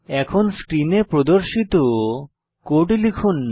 এখন স্ক্রিনে প্রদর্শিত কোড লিখুন